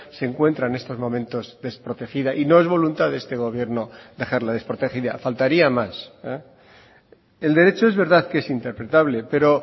se encuentra en estos momentos desprotegida y no es voluntad de este gobierno dejarla desprotegida faltaría más el derecho es verdad que es interpretable pero